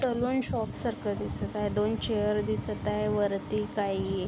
Salon shop सारख दिसत आहे. दोन चेअर दिसत आहे. वरती काही --